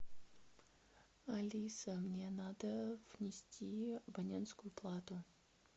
алиса мне надо внести абонентскую плату